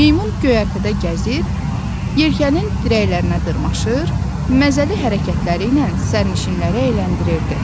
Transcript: Meymun göyərtədə gəzir, yelkənin dirəklərinə dırmaşır, məzəli hərəkətləri ilə sərnişinləri əyləndirirdi.